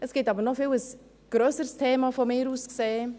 Es gibt aber von mir aus gesehen noch ein viel grösseres Thema: